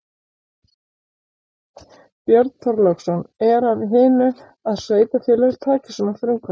Björn Þorláksson: Er af hinu að sveitarfélög taki svona frumkvæði?